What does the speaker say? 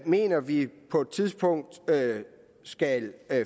mener vi på et tidspunkt skal